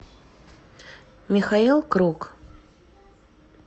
михаил круг